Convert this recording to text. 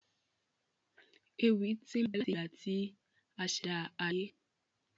Ewì tí n bẹ láti ìgbà tí asèdá ayé